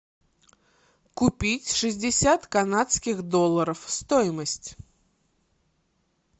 купить шестьдесят канадских долларов стоимость